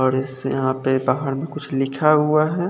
यहां पे बाहर में कुछ लिखा हुआ है।